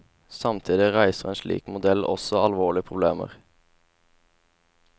Samtidig reiser en slik modell også alvorlige problemer.